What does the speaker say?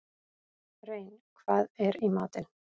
Rein, hvað er í matinn?